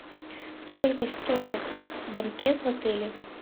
сколько стоит банкет в отеле